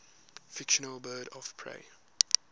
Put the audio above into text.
fictional birds of prey